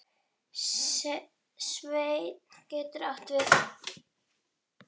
Sveinn getur átt við